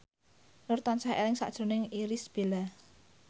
Nur tansah eling sakjroning Irish Bella